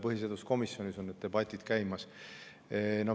Põhiseaduskomisjonis need debatid käivad.